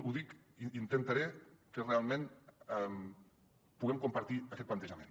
intentaré que realment puguem compartir aquest plantejament